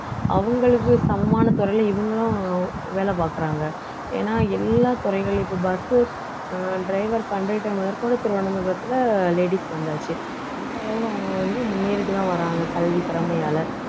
அவங்களுக்கு சமமான துறையில இவங்களும் வேலை பாக்குறாங்க ஏன்னா எல்லா துறைகள்லயும் இப்ப bus உ driver, conductor முதற்கொண்டு திருவனந்தபுரத்துல ladies வந்தாச்சு அந்த அளவுக்கு அவங்க வந்து முன்னேறிட்டுதான் வர்றாங்க கல்வி திறமையால